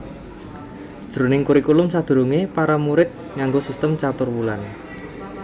Jroning kurikulum sadurungé para murid nganggo sistem caturwulan